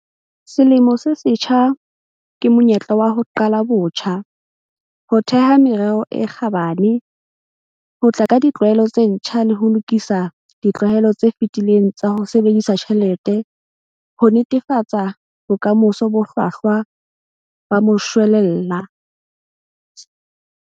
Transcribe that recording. Selemo se setjha ke monyetla wa ho qala botjha, ho theha merero e kgabane, ho tla ka ditlwaelo tse ntjha le ho lokisa ditlwaelo tse fetileng tsa ho sebedisa tjhelete ho netefatsa bokamoso bo hlwahlwa ba moshwelella.